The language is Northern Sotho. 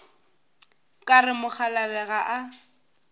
ka re mokgalabje ga a